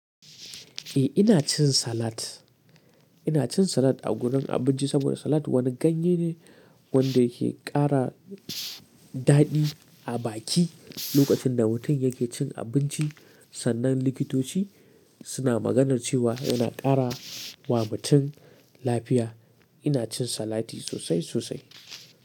Eh ina cin salat, ina cin salat a gurin abinci saboda salat wani ganye ne wanda yake ƙara daɗi a baki lokacin da mutum yake cin abinci. Sannan likitoci suna maganar cewa yana ƙara wa mutum lafiya. Ina cin salati sosai sosai.